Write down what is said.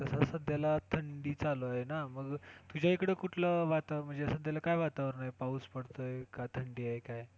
कस सध्याला थंडी चालू आहे ना, मग तुझ्या इकडं कुठलं म्हणजे सध्याला काय वातावरण आहे? पाऊस पडतोय कि थंडी आहे काय?